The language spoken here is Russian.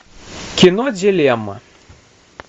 кино делема